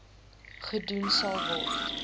gedoen sal word